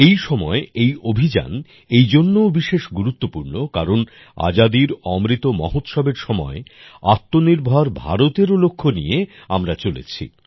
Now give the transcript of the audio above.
এই সময় এই অভিযান এইজন্যও বিশেষ গুরুতপূর্ণ কারণ আজাদীর অমৃত মহোৎসবএর সময় আত্মনির্ভর ভারতেরও লক্ষ্য নিয়ে আমরা চলছি